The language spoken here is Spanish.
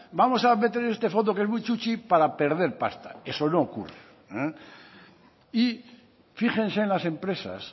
vamos a meter este fondo que es muy chuchi para perder pasta eso no ocurre y fíjense en la empresas